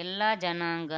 ಎಲ್ಲ ಜನಾಂಗ